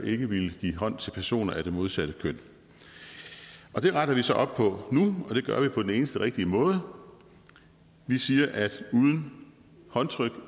ikke ville give hånd til personer af det modsatte køn det retter vi så op på nu og det gør vi på den eneste rigtige måde vi siger at uden håndtryk